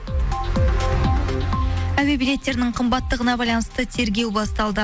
әуе билеттерінің қымбаттығына байланысты тергеу басталды